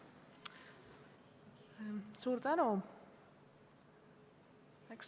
Suur tänu!